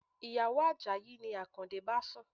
Ìyàwó Àjàyí ni Akande bá sùn.